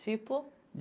Tipo?